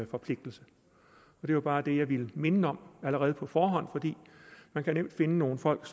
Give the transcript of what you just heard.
forpligtelse det var bare det jeg ville minde om allerede på forhånd man kan nemt finde nogle folk